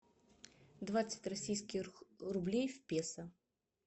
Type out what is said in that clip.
двадцать российских рублей в песо